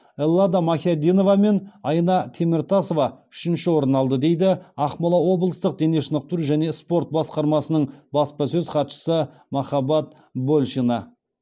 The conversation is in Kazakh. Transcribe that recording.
эллада махяддинова мен айна теміртасова үшінші орын алды дейді ақмола облыстық дене шынықтыру және спорт басқармасының баспасөз хатшысы махаббат большина